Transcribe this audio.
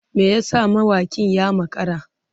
Me yasa mawakin ya makara?